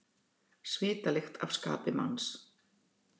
Svitalykt af skapi manns.